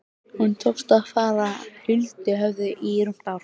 Honum tókst að fara huldu höfði í rúmt ár.